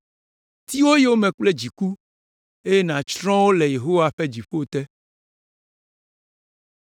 Ti wo yome kple dziku eye nàtsrɔ̃ wo le Yehowa ƒe dziƒo te.